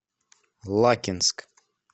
лакинск